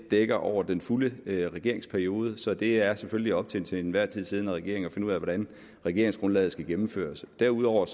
dækker over den fulde regeringsperiode så det er selvfølgelig op til en til enhver tid siddende regering at finde ud af hvordan regeringsgrundlaget skal gennemføres derudover